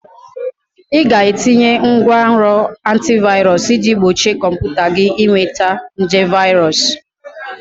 Ị ga-etinye ngwanrọ antivirus iji gbochie kọmputa gị ịnweta nje virus